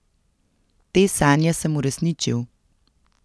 Te sanje sem uresničil.